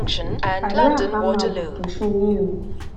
allah àá máa bùkún fún yín o